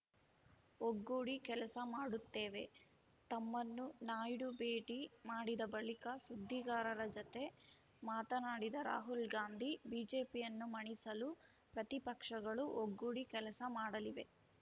ಒಗ್ಗೂಡಿ ಕೆಲಸ ಮಾಡುತ್ತೇವೆ ತಮ್ಮನ್ನು ನಾಯ್ಡು ಭೇಟಿ ಮಾಡಿದ ಬಳಿಕ ಸುದ್ದಿಗಾರರ ಜತೆ ಮಾತನಾಡಿದ ರಾಹುಲ್‌ ಗಾಂಧಿ ಬಿಜೆಪಿಯನ್ನು ಮಣಿಸಲು ಪ್ರತಿಪಕ್ಷಗಳು ಒಗ್ಗೂಡಿ ಕೆಲಸ ಮಾಡಲಿವೆ